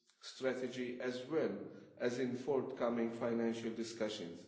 strategy, as well as in forthcoming financial discussions.